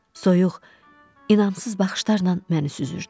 Soyuq, inamsız baxışlarla məni süzürdü.